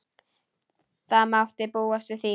Það mátti búast við því.